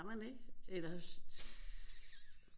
Har man ikke eller